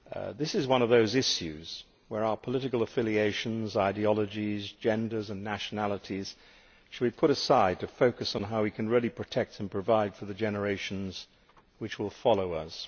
This is one of those issues where our political affiliations, ideologies, genders and nationalities should be put aside to focus on how we can really protect and provide for the generations which will follow us.